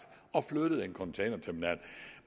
og flyttet en containerterminal